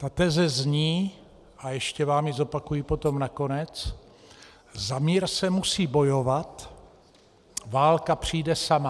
Ta teze zní, a ještě vám ji zopakuji potom nakonec: za mír se musí bojovat, válka přijde sama.